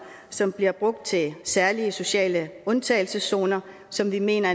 som bliver brugt til særlige sociale undtagelseszoner som vi mener